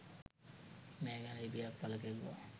මේ ගැන ලිපියක් පළ කෙරුවා